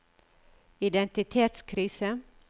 identitetskrise